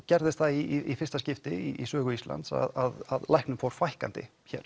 gerðist það í fyrsta skipti í sögu Íslands að læknum fór fækkandi hér